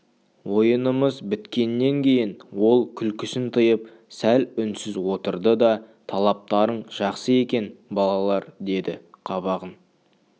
ойынымыз біткеннен кейін ол күлкісін тыйып сәл үнсіз отырды да талаптарың жақсы екен балалар деді қабағын